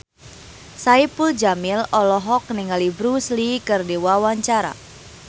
Saipul Jamil olohok ningali Bruce Lee keur diwawancara